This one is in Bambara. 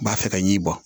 B'a fɛ ka ɲin bɔ